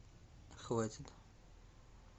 хватит